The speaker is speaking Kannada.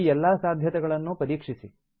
ಈ ಎಲ್ಲಾ ಸಾಧ್ಯತೆಗಳನ್ನೂ ಪರೀಕ್ಷಿಸಿ